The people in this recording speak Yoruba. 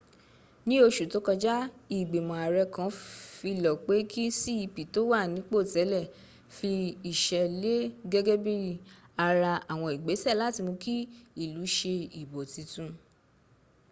ní oṣù tó kọjá ìgbìmọ̀ àrẹ kan filọ̀ pe kí cep tó wà nípò tẹ́lẹ̀ fi iṣẹ́ lẹ̀ gẹ́gẹ́ bí ara àwọn igbese láti mú kí ilu ṣe ìbò titun